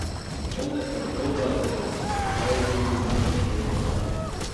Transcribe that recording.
Konec oktobra se bo sestal tudi novi svet zavoda.